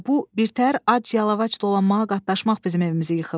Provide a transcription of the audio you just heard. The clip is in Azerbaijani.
Elə bu birtəhər ac yalavac dolanmağa qatlaşmaq bizim evimizi yıxıb.